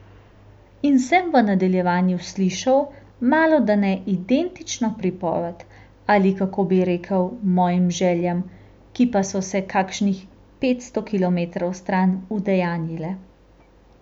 In sem v nadaljevanju slišal malodane identično pripoved, ali kako bi rekel, mojim željam, ki pa so se kakšnih petsto kilometrov stran udejanjile.